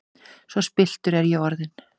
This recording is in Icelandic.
Svo spilltur er ég orðinn!